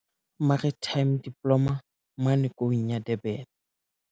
Maritime Diploma mane Koung ya Durban.